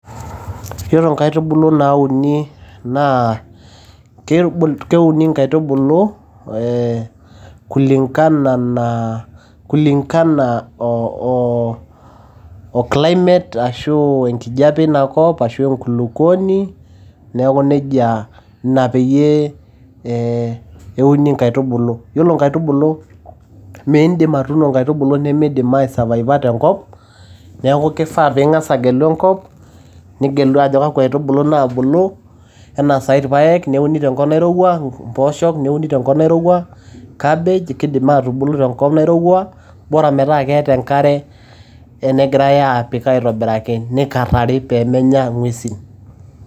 Ore nkaitbulu nani naa keuni nkaitubulu ee kulingana na kulingana oo climate ashu enkijape ina kop ashu enkulukuoni neaku nejia ina peyie ee euni nkaitubulu .yiolo nkaitubulu mindim atuuno nkaitubulu nimidim ae survivor te nkop .neaku kifaa pingas agelu enkop nigelu ajo kakwa aitubulu naabulu ena sai irpaek neuni tenkop nairowua, mpooshok neuni tenkop nairowua, cabbage kindim atubulu tenkop nairowa boraa metaa keetae enkare negirae apik aitobiraki nikarari pemenya gwesin.